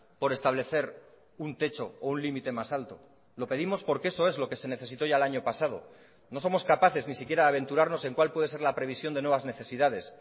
por establecer un techo o un límite más alto lo pedimos porque eso es lo que se necesitó ya el año pasado no somos capaces ni siquiera de aventurarnos en cual puede ser la previsión de nuevas necesidades